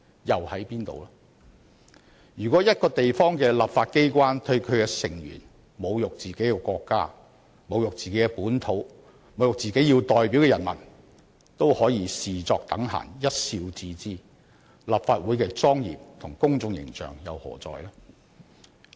如果一個地方的立法機關對其成員侮辱自己的國家、本土和其代表的人民也可視作等閒、一笑置之，立法會的莊嚴和公眾形象何在？